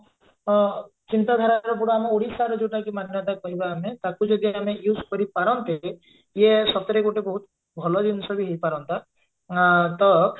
ଅ ଚିନ୍ତାଧାର ଗୁଡା ଆମେ ଓଡିଶାର ଯଉଟା ଯଉ ମାନ୍ୟତା କହିବା ଆମେ ତାକୁ ଯଦି ଆମେ use କରିପାରନ୍ତେ ଇଏ ସତରେ ଗୋଟେ ବହୁତ ଭଲ ଜିନିଷ ବି ହେଇପାରନ୍ତା ଆ ତ